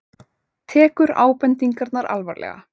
Tekur ábendingarnar alvarlega